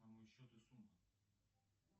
на мой счет и сумма